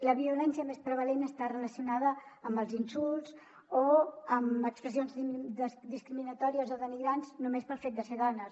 la violència més prevalent està relacionada amb els insults o amb expressions discriminatòries o denigrants només pel fet de ser dones